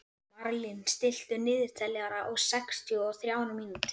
Marlín, stilltu niðurteljara á sextíu og þrjár mínútur.